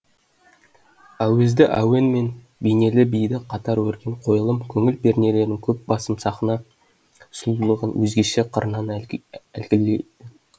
әуезді әуен мен бейнелі биді қатар өрген қойылым көңіл пернелерін дөп басып сахна сұлулығын өзгеше қырынан әйгілейді